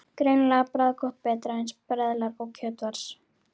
Greinilega bragðgott og betra en sperðlar og kjötfars.